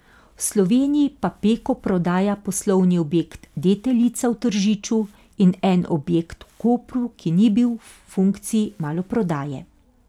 V Sloveniji pa Peko prodaja poslovni objekt Deteljica v Tržiču in en objekt v Kopru, ki ni bil v funkciji maloprodaje.